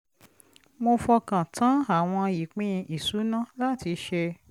mo fọkàn tán àwọn ìpín ìṣúná láti ṣe